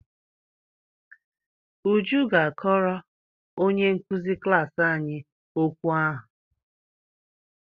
Uju ga-akọrọ onye nkụzi klaasị anyị okwu ahụ.